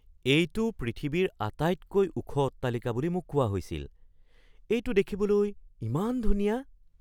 এইটো পৃথিৱীৰ আটাইতকৈ ওখ অট্টালিকা বুলি মোক কোৱা হৈছিল। এইটো দেখিবলৈ ইমান ধুনীয়া!